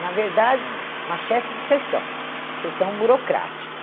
Na verdade, ah, uma chefe de sessão, sessão burocrática.